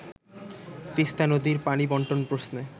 তিস্তা নদীর পানি বন্টন প্রশ্নে